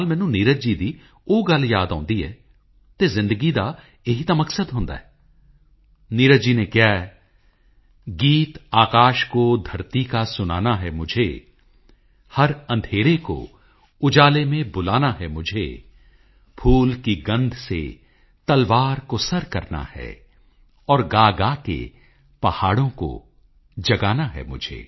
ਮੈਨੂੰ ਖੁਸ਼ੀ ਹੈ ਕਿ ਭਾਰਤ ਦੇ ਮਹਾਨ ਨਾਇਕਾਂ ਨਾਲ ਜੁੜੀਆਂ ਕਈ ਥਾਵਾਂ ਨੂੰ ਦਿੱਲੀ ਵਿੱਚ ਵਿਕਸਿਤ ਕਰਨ ਦੀ ਕੋਸ਼ਿਸ਼ ਹੋਈ ਹੈ ਭਾਵੇਂ ਉਹ ਬਾਬਾ ਸਾਹਿਬ ਅੰਬੇਡਕਰ ਨਾਲ ਜੁੜਿਆ 26 ਅਲੀਪੁਰ ਰੋਡ ਹੋਵੇ ਜਾਂ ਫਿਰ ਸਰਦਾਰ ਪਟੇਲ ਸੰਗ੍ਰਹਿਆਲਾ ਹੋਵੇ ਜਾਂ ਫਿਰ ਕ੍ਰਾਂਤੀ ਮੰਦਿਰ ਹੋਵੇ ਜੇਕਰ ਤੁਸੀਂ ਦਿੱਲੀ ਆਓ ਤਾਂ ਇਨ੍ਹਾਂ ਥਾਵਾਂ ਨੂੰ ਜ਼ਰੂਰ ਵੇਖਣ ਜਾਓ